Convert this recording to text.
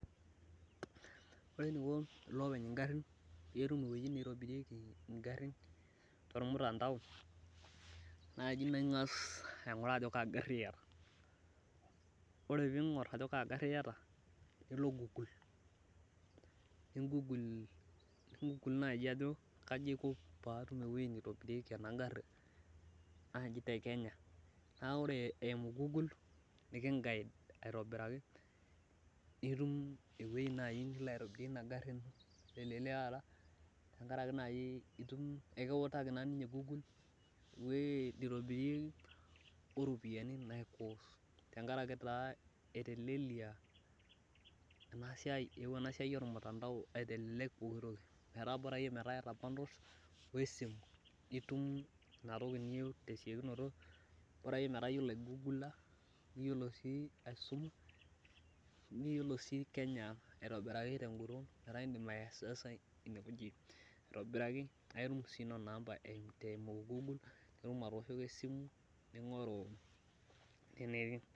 Kaiko olopeny ingarin petum ewoi naitobirie ngarin tormutandao naji nangas aingura ajobkaagari iata nilo google ningugul qjo kaiko aiko patum ewoi naitobirieki enagari aitobiraki ntum ewoi nilo aitobirie inagaru telelekata nituniekiutaki ninye google ewoi naitobirieki oropiyani naikos tenkaraki etelelia enasia eewuo enasia ormutandao aitelek poki toki Bora metaa iata bundles wesimu nitum intoki niyieu tesiokinoto bora si iyolo kenya aitobiraki nitum namba eimu google netum atooshoki esimu ningoru enetii